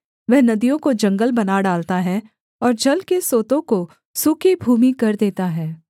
वह नदियों को जंगल बना डालता है और जल के सोतों को सूखी भूमि कर देता है